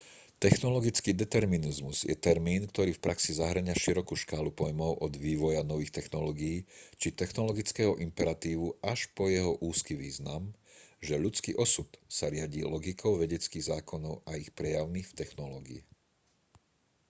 technologický determinizmus je termín ktorý v praxi zahŕňa širokú škálu pojmov od vývoja nových technológií či technologického imperatívu až po jeho úzky význam že ľudský osud sa riadi logikou vedeckých zákonov a ich prejavmi v technológii